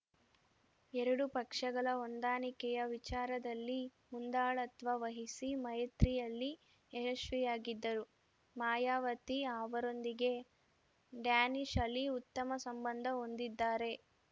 ಎರಡು ಪಕ್ಷಗಳ ಹೊಂದಾಣಿಕೆಯ ವಿಚಾರದಲ್ಲಿ ಮುಂದಾಳತ್ವ ವಹಿಸಿ ಮೈತ್ರಿಯಲ್ಲಿ ಯಶಸ್ವಿಯಾಗಿದ್ದರು ಮಾಯಾವತಿ ಅವರೊಂದಿಗೆ ಡ್ಯಾನಿಶ್‌ ಅಲಿ ಉತ್ತಮ ಸಂಬಂಧ ಹೊಂದಿದ್ದಾರೆ